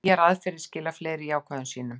Nýjar aðferðir skila fleiri jákvæðum sýnum